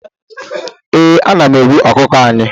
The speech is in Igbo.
eeh, ana m egbu ọkụkọ anyị